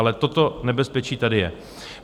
Ale toto nebezpečí tady je.